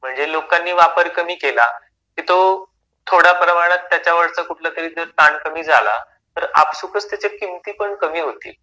म्हणजे लोकांनी वापर कमी केला की तो थोड्या प्रमाणात त्याचा वरचा कुठलातरी ताण कमी झाला की तर आपसूकच त्याच्या किमती पण कमी होतील.